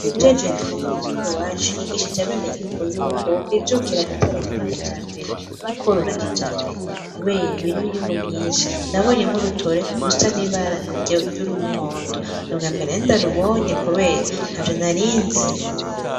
Uwujejwe indimo ku mutumba iwacu yigishije abenegihugu yuko bo kwijukira guteragera kijambere no kworura kijambere, kubera birimwo inyungu nyinshi nabonye nk'urutore rusa n'ibara ry'umuhondo nirya mbere nari ndarubonye, kubera nta vyo narinzi.